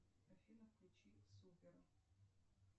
афина включи супер